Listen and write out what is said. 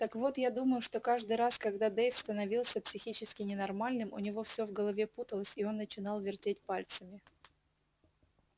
так вот я думаю что каждый раз когда дейв становился психически ненормальным у него всё в голове путалось и он начинал вертеть пальцами